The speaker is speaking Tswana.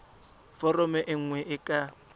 foromo e nngwe e ka